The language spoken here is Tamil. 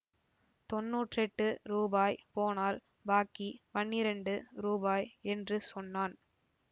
தொண்ணூற்றெட்டு ரூபாய் போனால் பாக்கி பன்னிரண்டு ரூபாய் என்று சொன்னான்